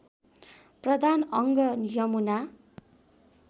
प्रधान अङ्ग यमुना